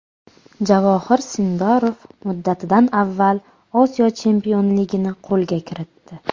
Javohir Sindorov muddatidan avval Osiyo chempionligini qo‘lga kiritdi.